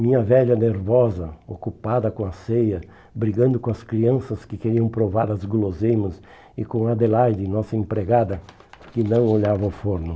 Minha velha nervosa, ocupada com a ceia, brigando com as crianças que queriam provar as guloseimas e com Adelaide, nossa empregada, que não olhava ao forno.